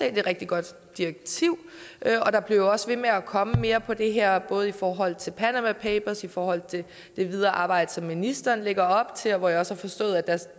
et rigtig godt direktiv der bliver jo også ved med at komme mere på det her område både i forhold til både panama papers i forhold til det videre arbejde som ministeren lægger op til hvor jeg også har forstået at